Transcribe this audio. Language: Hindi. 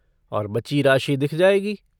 और बची राशि दिख जाएगी।